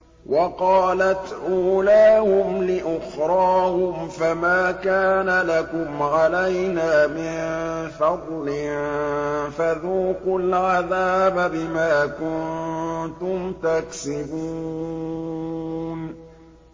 وَقَالَتْ أُولَاهُمْ لِأُخْرَاهُمْ فَمَا كَانَ لَكُمْ عَلَيْنَا مِن فَضْلٍ فَذُوقُوا الْعَذَابَ بِمَا كُنتُمْ تَكْسِبُونَ